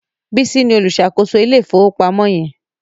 Bisi ní oluṣakoso Ilé ìfowópamọ́ yen.